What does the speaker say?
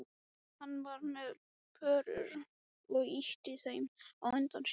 Hann var með börur og ýtti þeim á undan sér.